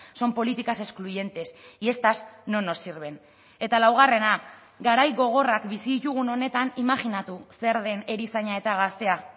son políticas excluyentes y estas no nos sirven eta laugarrena garai gogorrak bizi ditugun honetan imajinatu zer den erizaina eta gaztea